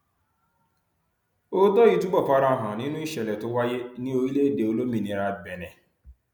òótọ yìí túbọ fara hàn nínú ìṣẹlẹ tó wáyé ní orílẹèdè olómìnira benin